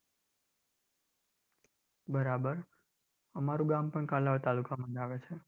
બરાબર અમારુ ગામ પણ કાલાવડ તાલુકામાં જ આવે છે.